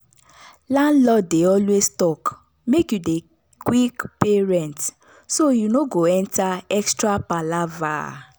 landlord dey always talk make you dey quick pay rent so you no go enter extra palava.